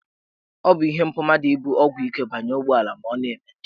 Ọ bụ ihe mpụ mmadụ ibu ọgwụ ike banye ụgbọelu ma ọ na-eme njem.